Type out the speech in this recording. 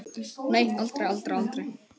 Nei, aldrei, aldrei, aldrei!